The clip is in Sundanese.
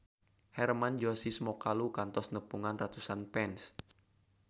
Hermann Josis Mokalu kantos nepungan ratusan fans